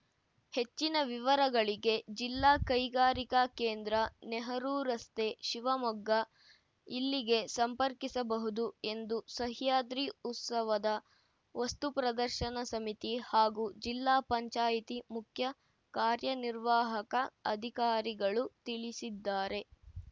ಹೆಚ್ಚಿನ ವಿವರಗಳಿಗೆ ಜಿಲ್ಲಾ ಕೈಗಾರಿಕಾ ಕೇಂದ್ರ ನೆಹರೂ ರಸ್ತೆ ಶಿವಮೊಗ್ಗ ಇಲ್ಲಿಗೆ ಸಂಪರ್ಕಿಸಬಹುದು ಎಂದು ಸಹ್ಯಾದ್ರಿ ಉತ್ಸವದ ವಸ್ತು ಪ್ರದರ್ಶನ ಸಮಿತಿ ಹಾಗೂ ಜಿಲ್ಲಾ ಪಂಚಾಯಿತಿ ಮುಖ್ಯ ಕಾರ್ಯನಿರ್ವಾಹಕ ಅಧಿಕಾರಿಗಳು ತಿಳಿಸಿದ್ದಾರೆ